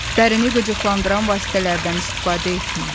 Dərini qıcıqlandıran vasitələrdən istifadə etməyin.